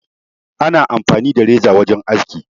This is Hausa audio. Ana amfani da reza wajen aski.